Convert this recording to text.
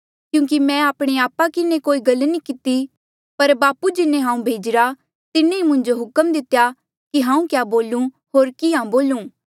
क्यूंकि मैं आपणे आपा किन्हें कोई गल्ला नी किती पर बापू जिन्हें हांऊँ भेजिरा तिन्हें ई मुंजो हुक्म दितेया कि हांऊँ क्या बोलू होर किहाँ बोलू